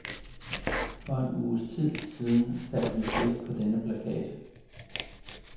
For en uges tid siden faldt mit blik på denne plakat.